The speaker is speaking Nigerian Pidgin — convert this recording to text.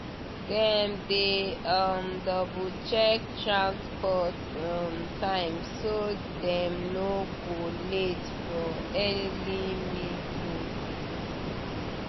dem dey um double check transport um time so dem no go late for early meeting.